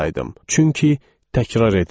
Çünki təkrar edirəm.